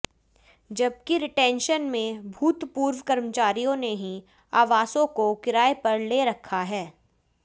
जबकि रीटेंशन में भूतपूर्व कर्मचारियों ने ही आवासों को किराये पर ले रखा है